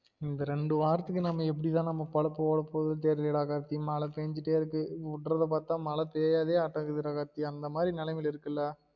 இந்த ரெண்டு வாரத்துக்கு நாம எப்டி தான் நம்ம பொழப்பு ஓட போறதோ தெரியல டா கார்த்தி மழை பெஞ்சிட்டே இருக்கு உடுரத பாத்தா மழை டா கார்த்தி அந்த மாதிரி நிலைமையில் இருக்குல